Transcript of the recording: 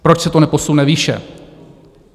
Proč se to neposune výše?